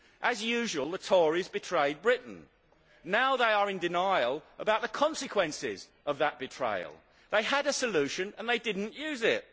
As usual the Tories betrayed Britain. Now they are in denial about the consequences of that betrayal. They had a solution and they did not use it.